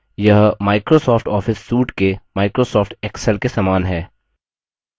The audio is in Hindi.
यह microsoft office suite के microsoft excel के समान है